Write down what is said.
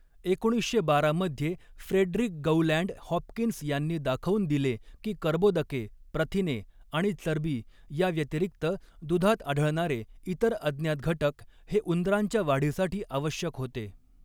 एकोणीसशे बारा मध्ये फ्रेडरिक गौलँड हॉपकिन्स यांनी दाखवून दिले की कर्बोदके, प्रथिने आणि चरबी याव्यतिरिक्त दुधात आढळनारे इतर अज्ञात घटक हे उंदरांच्या वाढीसाठी आवश्यक होते.